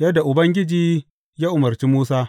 yadda Ubangiji ya umarci Musa.